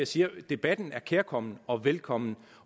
siger at debatten er kærkommen og velkommen